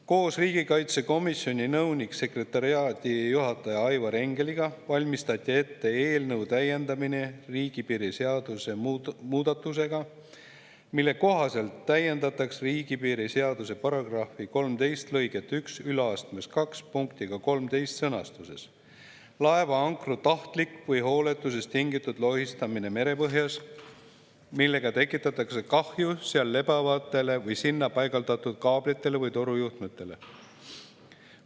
Koos riigikaitsekomisjoni nõunik-sekretariaadijuhataja Aivar Engeliga valmistati ette eelnõu täiendamine riigipiiri seaduse muudatusega, mille kohaselt täiendataks riigipiiri seaduse § 13 lõiget 12 punktiga 13: "Laeva ankru tahtlik või hooletusest tingitud lohistamine merepõhjas, millega tekitatakse kahju seal lebavatele või sinna paigaldatud kaablitele või torujuhtmetele.